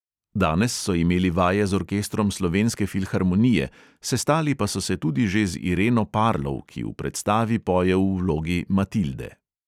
Danes so imeli vaje z orkestrom slovenske filharmonije, sestali pa so se tudi že z ireno parlov, ki v predstavi poje v vlogi matilde.